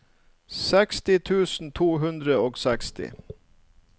syttiseks tusen to hundre og seksti